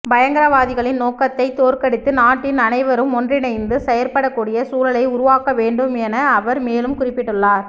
பயங்கரவாதிகளின் நோக்கத்தை தோற்கடித்து நாட்டின் அனைவரும் ஒன்றிணைந்து செயற்படக்கூடிய சூழலை உருவாக்க வேண்டும் என அவர் மேலும் குறிப்பிட்டுள்ளார்